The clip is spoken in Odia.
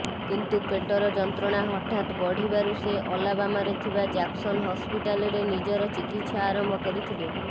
କିନ୍ତୁ ପେଟର ଯନ୍ତ୍ରଣା ହଠାତ୍ ବଢ଼ିବାରୁ ସେ ଅଲାବାମାରେ ଥିବା ଜ୍ୟାକ୍ସନ ହସ୍ପିଟାଲରେ ନିଜର ଚିକିତ୍ସା ଆରମ୍ଭ କରିଥିଲେ